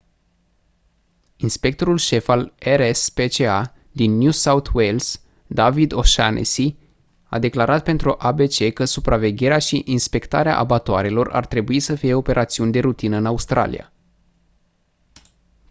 inspectorul șef al rspca din new south wales david o'shannessy a declarat pentru abc că supravegherea și inspectarea abatoarelor ar trebui să fie operațiuni de rutină în australia